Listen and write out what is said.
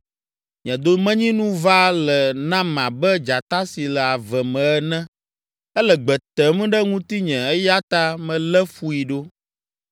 Nye domenyinu va le nam abe dzata si le ave me ene. Ele gbe tem ɖe ŋutinye, eya ta melé fui ɖo.